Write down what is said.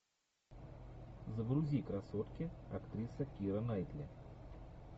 загрузи красотки актриса кира найтли